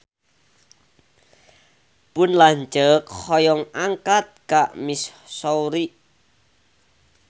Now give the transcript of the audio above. Pun lanceuk hoyong angkat ka Missouri